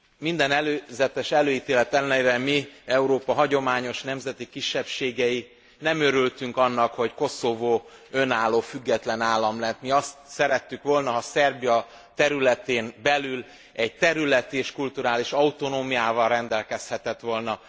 Minden előzetes előítélet ellenére mi, Európa hagyományos nemzeti kisebbségei nem örültünk annak, hogy Koszovó önálló, független állam lett. Mi azt szerettük volna, ha Szerbia területén belül egy területi és kulturális autonómiával rendelkezhetett volna.